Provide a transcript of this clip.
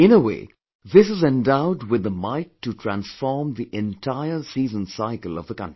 In a way, this is endowed with the might to transform the entire seasoncycle of the country